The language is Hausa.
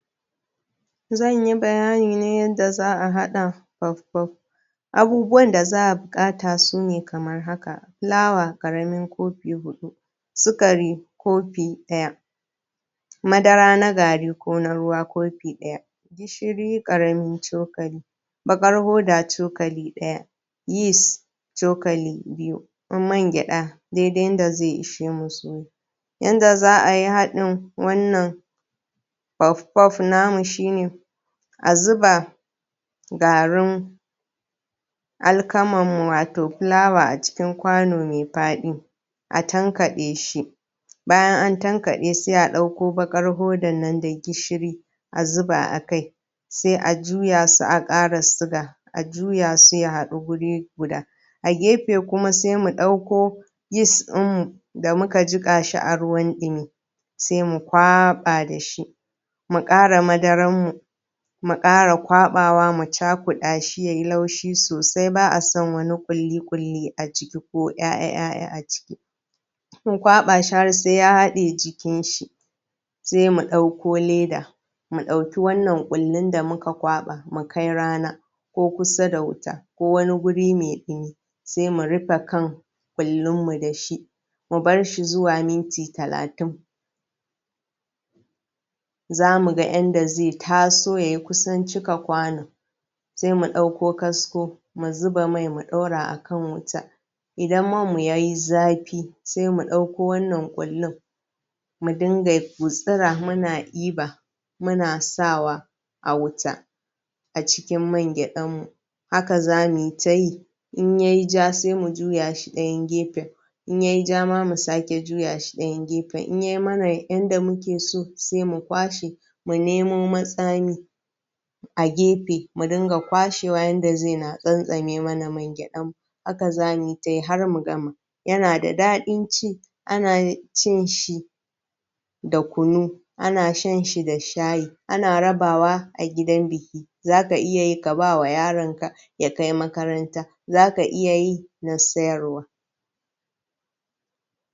Zan yi bayani ne yadda za a haɗa puf puf. Abubuwan da za a buƙata sune kamar haka. Fulawa ƙaramin kofi huɗu, sukari kofi ɗaya, madara na gari ko na ruwa kofi ɗaya, gishiri ƙaramin cokali, baƙar hoda cokali ɗaya, yis cokali biyu, mangyaɗa dai dai yanda zai ishe mu suya. Yanda za a yi haɗin wannan puf puf namu shi ne. a zuba garin alkaman mu wato fulawan a cikin kwano mai faɗi. a tankaɗe shi, bayan an tankaɗe sai a ɗauko baƙar hodar nan da gishiri a zuba a kai sai a juya su a ƙara siga, a juya su ya haɗu wuri guda. A gefe ɗaya kuma sai mu ɗauko yis ɗin mu da muka jiƙa shi a ruwan ɗimi, sai mu kwaɓa da shi, mu ƙara madaran mu mu ƙara kwaɓawa mu cakuɗa shi ya yi laushi sosai, ba a son wani ƙulli ƙulli a ciki ko ‘ya’ya a ciki, mu kwaɓa shi har sai ya haɗe jikinshi. Sai mu ɗauko leda mu ɗauki wannan ƙullun da muka kwaɓa mu kai rana ko kusa da wuta ko wani wuri mai ɗimi, sai mu rufe kan ƙullun mu da shi, mu bar shi zuwa minti talatin, za mu ga yadda zai taso ya kusan cika kwanon. Sai mu ɗauko kasko mu zuba mai mu ɗaura a kan wuta. Idan man mu ya yi zafi, sai mu ɗauko wannan ƙullun mu dinga gutsira muna ɗiba muna sa wa a wuta a cikin man gyaɗan mu, haka za mu yi ta yi in yai ja sai mu juya shi ɗayan gefen, in yai ja ma sai mu sake juya shi ɗayan gefen. In yai mana yadda muke so sai mu kwashe, mu nemo matsami a gefe mu dinga kwashewa yanda zai na tsantsame mana man gyaɗa mu. Haka za mu yi ta yi har mu gama. Yana da daɗin ci, ana cin shi da kuna, ana shan shi da shayi, ana rabawa a gidan biki. Za ka iya yi k aba wa yaronka ya kai makaranta, z aka iya yin a sayarwa.